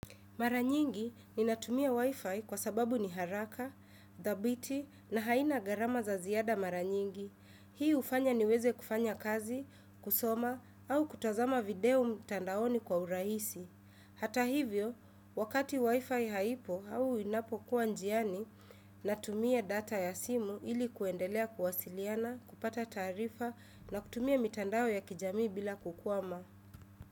Maranyingi ninatumia wifi kwa sababu ni haraka, dhabiti na haina garama za ziada maranyingi. Hii hufanya niweze kufanya kazi, kusoma au kutazama video mtandaoni kwa urahisi. Hata hivyo, wakati wifi haipo au inapokuwa njiani, natumia data ya simu ili kuendelea kuwasiliana, kupata taarifa na kutumia mtandao ya kijamii bila kukwama.